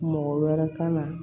Mɔgɔ wɛrɛ kan na